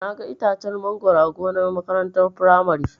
Naga itacen mangoro a gonar makarantar firamare.